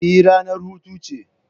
Eh, ranar hutu ce.